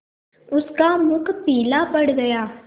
उसका मुख पीला पड़ गया